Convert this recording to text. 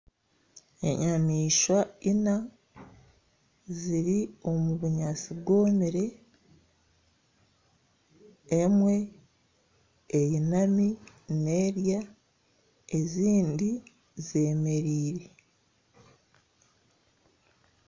Enyamaishwa ina ziri omu bunyaatsi bwomire, emwe eyinami neerya ezindi zeemereire